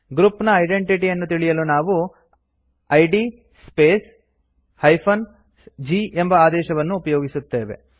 group ನ identity ಯನ್ನು ತಿಳಿಯಲು ನಾವು ಇದ್ ಸ್ಪೇಸ್ - g ಎಂಬ ಆದೇಶವನ್ನು ಉಪಯೋಗಿಸುತ್ತೇವೆ